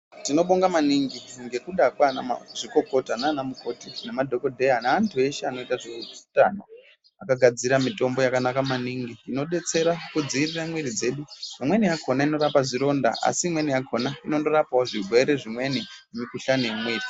Tinobonga maningi ngekuda kwaanamazvikokota naanamukoti nemadhokodheya neantu eshe anoite zveutano vakagadzire mitombo yakanaka maningi inodetsera kudziirire muiri dzedu. Imweni yakhona inorape zvironda asi imweni yakhona inondorapawo zvirwere zvimweni nemukhuhlani imweni.